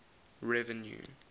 revenue